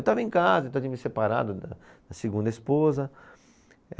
Eu estava em casa, tinha me separado da, da segunda esposa.